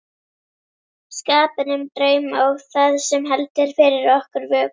skapinn, um drauma og það sem heldur fyrir okkur vöku.